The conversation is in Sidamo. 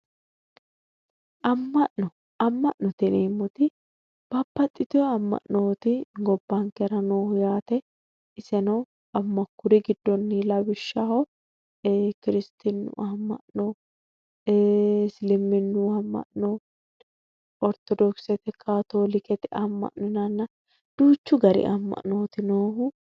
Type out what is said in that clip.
Ama'no ama'note yineemmoti babbaxitino ama'noti gobbankera nooti yaate, iseno kuri giddonni lawishshaho kirsitinu ama'no ,isliminu ama'no, orthodokisete, kattolikete ama'no yinnanna duuchu gari ama'noti noohu.